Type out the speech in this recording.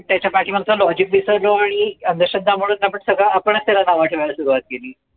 त्याच्या पाठी माग चाललो विसरलो आणि अंधश्रद्धा म्हणून आपण सगळं आपणच त्याला नाव ठेवायला सुरवात केली